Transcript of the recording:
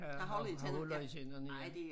Øh har har huller i tænderne ja